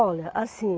Olha, assim...